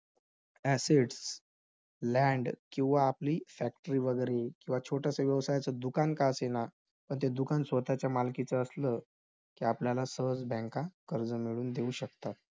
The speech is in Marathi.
Assets land किंवा आपली factory वैगरे किंवा छोटसं व्यवसायाचं दुकान का असेना, पण ते दुकान स्वतःच्या मालकीचं असलं, की आपल्याला सहज bank कर्ज मिळवून देऊ शकतात.